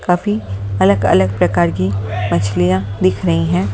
काफी अलग-अलग प्रकार की मछलियां दिख रही हैं।